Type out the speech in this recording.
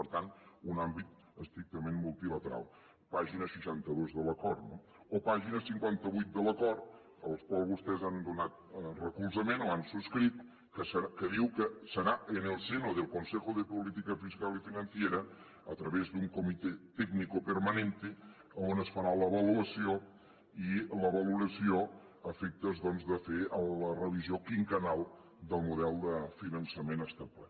per tant un àmbit estrictament multilateral pàgina seixanta dos de l’acord no o pàgina cinquanta vuit de l’acord al qual vostès han donat recolzament o han subscrit que diu que serà en el seno del consejo de política fiscal y financiera a través de un comité técnico permanente on es farà l’avaluació i la valoració a efectes doncs de fer la revisió quinquennal del model de finançament establert